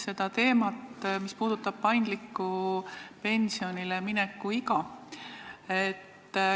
Ma tuletan meelde paindliku pensionile mineku teemat.